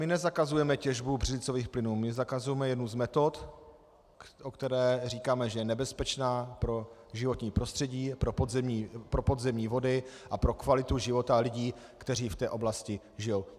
My nezakazujeme těžbu břidlicových plynů, my zakazujeme jednu z metod, o které říkáme, že je nebezpečná pro životní prostředí, pro podzemní vody a pro kvalitu života lidí, kteří v té oblasti žijí.